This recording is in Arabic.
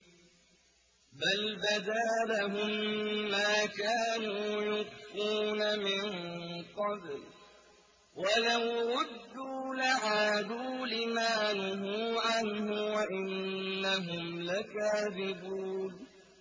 بَلْ بَدَا لَهُم مَّا كَانُوا يُخْفُونَ مِن قَبْلُ ۖ وَلَوْ رُدُّوا لَعَادُوا لِمَا نُهُوا عَنْهُ وَإِنَّهُمْ لَكَاذِبُونَ